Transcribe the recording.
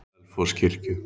Selfosskirkju